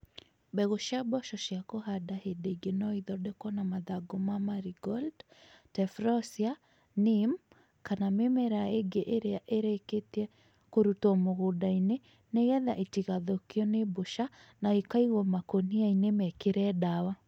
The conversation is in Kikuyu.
Mbegũ cia mboco cia kũhanda hĩndĩ ĩngĩ no ithondekwo na mathangũ ma marigold, tephrosia, neem, kana mĩmera ĩngĩ ĩrĩa ĩrĩkĩtie kũrutwo mũgũnda-inĩ nĩgetha itigathũkio nĩ mbũca na ikaigwo makũniainĩ mekĩre dawa